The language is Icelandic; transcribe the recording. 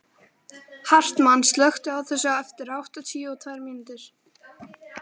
Hartmann, slökktu á þessu eftir áttatíu og tvær mínútur.